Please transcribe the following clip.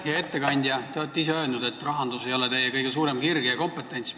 Hea ettekandja, te olete ise öelnud, et rahandus ei ole teie kõige suurem kirg ja kompetentsivaldkond.